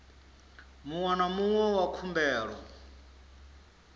muṅwe na muṅwe wa khumbelo